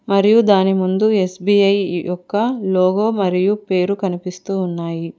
మరియు దాని ముందు ఎస్_బి_ఐ యొక్క లోగో మరియు పేరు కనిపిస్తూ ఉన్నాయి.